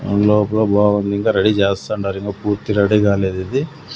హల్ లోపల బాగుంది ఇంకా రెడీ చేస్తాండారు ఇంకా పూర్తి రెడీ కాలేదిది.